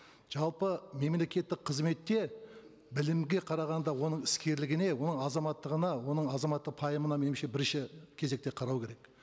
жалпы мемлекеттік қызметте білімге қарағанда оның іскерлігіне оның азаматтығына оның азаматты пайымына меніңше бірінші кезекте қарау керек